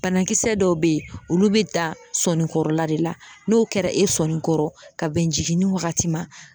Banakisɛ dɔw bɛ yen olu be da sɔnni kɔrɔla de la n'o kɛra e sɔnni kɔrɔ ka bɛn jigini wagati ma